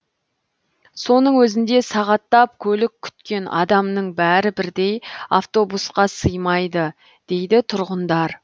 соның өзінде сағаттап көлік күткен адамның бәрі бірдей автобусқа сыймайды дейді тұрғындар